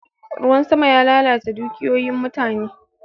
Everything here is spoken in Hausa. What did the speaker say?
Ruwan sama ya lalata dukiyoyin mutane.